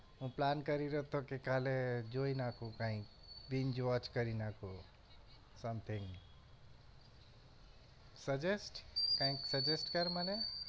હું plan કરી રહ્યો હતો કે કાલે જોઈ નાખું કાઈક watch કરી નાખું something suggest કાઈક suggest કર મને